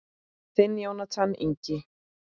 Þinn Jónatan Ingi.